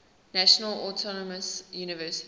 national autonomous university